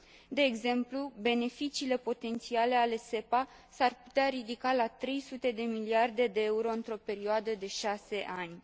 De exemplu, beneficiile potențiale ale SEPA s ar putea ridica la trei sute de miliarde de euro într o perioadă de șase ani.